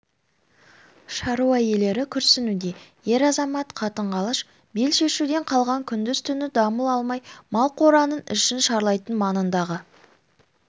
шаруа иелері күрсінуде ер-азамат қатын-қалаш бел шешуден қалған күндіз-түні дамыл алмай мал қораның ішін шарлайтын маңындағы